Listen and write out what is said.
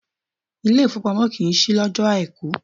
Ilé ìfowópamọ́ kìí ṣí lọ́jọ́o Àìkú.